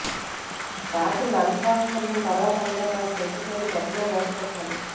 రాత్రి lunch box కడిగిన తర్వాత అందులో కాస్త ఉప్పు చల్లి గట్టిగా మూతపెట్టాలి